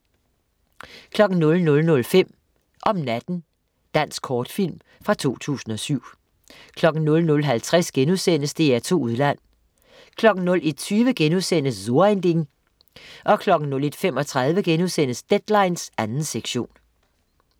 00.05 Om natten. Dansk kortfilm fra 2007 00.50 DR2 Udland* 01.20 So ein Ding* 01.35 Deadline 2. sektion*